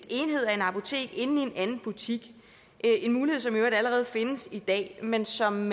enhed af et apotek inde i en anden butik en mulighed som i øvrigt allerede findes i dag men som